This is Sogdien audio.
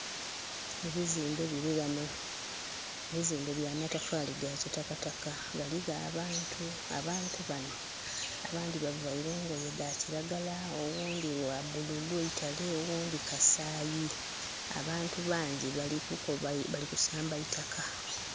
Ebizimbe biri wano, ebizimbe bya matafali ga kitakataka. Waliwo abantu, abantu bano abandi bavaire engoye dakiragala, owundi wa bululu eitale owundi kasayi. Abantu bangi bali kusamba itaka